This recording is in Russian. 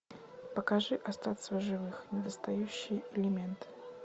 покажи остаться в живых недостающий элемент